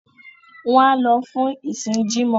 wọ́n á lọ fún ìsìn “jímọ̀”.